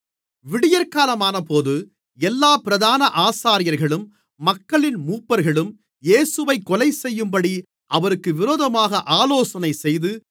விடியற்காலமானபோது எல்லாப் பிரதான ஆசாரியர்களும் மக்களின் மூப்பர்களும் இயேசுவைக் கொலைசெய்யும்படி அவருக்கு விரோதமாக ஆலோசனைசெய்து